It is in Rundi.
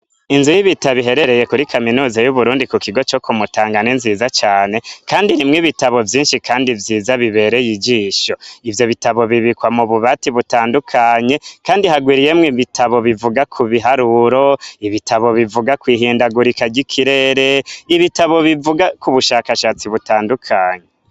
Inzu y'ibitabo iherereye kuri kaminusa y'uburundi ku kigo co kumutangane nziza cane, kandi rimwo ibitabo vyinshi, kandi vyiza bibereye ijisho ivyo bitabo bibikwa mu bubati butandukanye, kandi hagwiriyemwo ibitabo bivuga ku biharuro ibitabo bivuga kwihindagurikary'ikirere ibitabo bivuga ku bushakashatsi bwe tandukanyi.